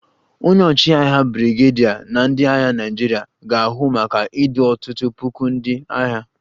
Onye ọchịagha brigadier na ndị agha Naịjirịa ga-ahụ maka idu ọtụtụ puku ndị agha